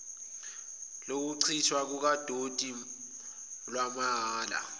lokuchithwa kukadoti lwamahhala